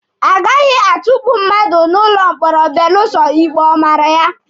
A gaghị atukpu mmadụ n'ụlọ mkpọrọ belụsọ ikpe ọ mara ya.